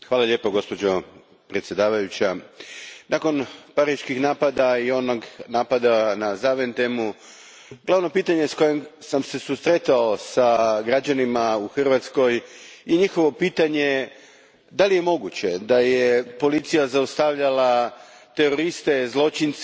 Gospođo predsjedavajuća, nakon pariških napada i onog napada na Zaventemu glavno pitanje s kojim sam se susretao s građanima u Hrvatskoj i njihovo pitanje, je li moguće da je policija zaustavljala teroriste, zločince,